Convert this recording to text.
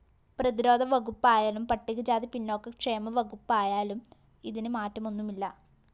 പ്രതിരോധ വകുപ്പായാലും പട്ടികജാതി പിന്നോക്കക്ഷേമ വകുപ്പായാലും ഇതിന്‌ മാറ്റമൊന്നുമില്ല